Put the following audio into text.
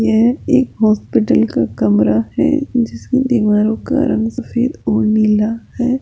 यह एक हॉस्पिटल का कमरा है जिसकी दीवारों का रंग सफेद और नीला है।